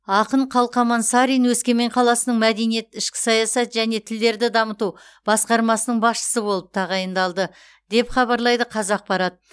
ақын қалқаман сарин өскемен қаласының мәдениет ішкі саясат және тілдерді дамыту басқармасының басшысы болып тағайындалды деп хабарлайды қазақпарат